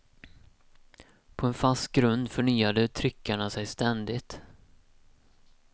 På en fast grund förnyade tryckarna sig ständigt.